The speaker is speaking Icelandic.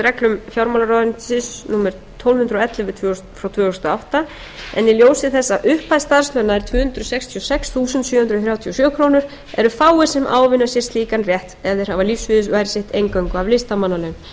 reglum fjármálaráðuneytisins númer tólf hundruð og ellefu tvö þúsund og átta en í ljósi þess að upphæð starfslauna er tvö hundruð sextíu og sex þúsund sjö hundruð þrjátíu og sjö krónur eru fáir sem ávinna sér slíkan rétt ef þeir hafa lífsviðurværi sitt eingöngu af listamannalaunum